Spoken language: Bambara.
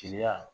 Teliya